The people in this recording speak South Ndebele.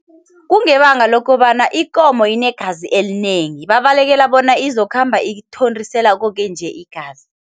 Kungebanga lokobana ikomo inegazi elinengi babalekela bona izokhamba ithontisela koke nje igazi.